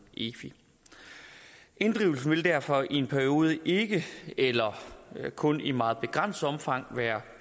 efi inddrivelsen vil derfor i en periode ikke eller kun i meget begrænset omfang være